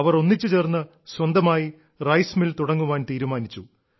അവർ ഒന്നിച്ചുചേർന്ന് സ്വന്തമായി rice mill തുടങ്ങാൻ തീരുമാനിച്ചു